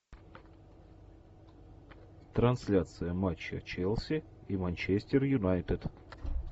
трансляция матча челси и манчестер юнайтед